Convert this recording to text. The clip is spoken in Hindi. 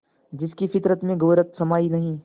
जिसकी फितरत में गैरत समाई नहीं